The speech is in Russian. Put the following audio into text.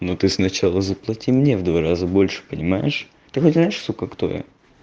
ну ты сначала заплати мне в два раза больше понимаешь ты хоть знаешь сука кто я